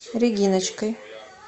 региночкой